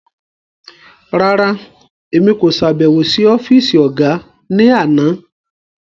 Rárá, Èmi ko ṣabẹwo si ọfisi ọga ni àna